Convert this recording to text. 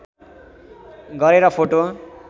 गरेर फोटो